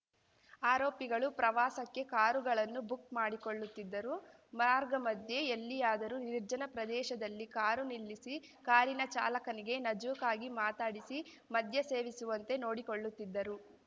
ಆರೋಪಿಗಳು ಪ್ರವಾಸಕ್ಕೆ ಕಾರುಗಳನ್ನು ಬುಕ್‌ ಮಾಡಿಕೊಳ್ಳುತ್ತಿದ್ದರು ಮಾರ್ಗ ಮಧ್ಯೆ ಎಲ್ಲಿಯಾದರೂ ನಿರ್ಜನ ಪ್ರದೇಶದಲ್ಲಿ ಕಾರು ನಿಲ್ಲಿಸಿ ಕಾರಿನ ಚಾಲಕನಿಗೆ ನಜೂಕಾಗಿ ಮಾತನಾಡಿಸಿ ಮದ್ಯ ಸೇವಿಸುವಂತೆ ನೋಡಿಕೊಳ್ಳುತ್ತಿದ್ದರು